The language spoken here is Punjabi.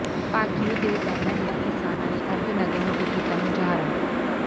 ਭਾਕਿਊ ਦੇ ਬੈਨਰ ਹੇਠ ਕਿਸਾਨਾਂ ਨੇ ਅਰਧ ਨਗਨ ਹੋ ਕੇ ਕੀਤਾ ਮੁਜ਼ਾਹਰਾ